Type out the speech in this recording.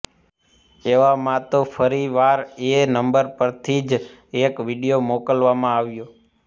એવામાં તો ફરીવાર એ નંબર પરથી જ એક વીડિઓ મોકલવામાં આવ્યો